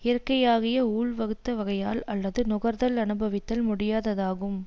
இயற்கையாகிய ஊழ் வகுத்த வகையால் அல்லது நுகர்தல் அனுபவித்தல் முடியாததாகும்